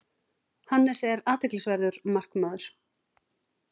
Hannes er athyglisverður markmaður.